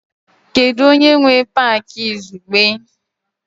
Kedu onye nwe Pááki izugbe?